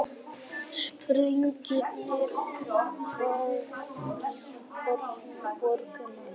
Sprengingin varð í norðurhluta borgarinnar